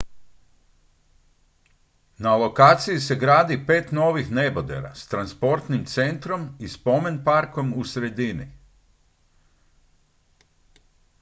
na lokaciji se gradi pet novih nebodera s transportnim centrom i spomen-parkom u sredini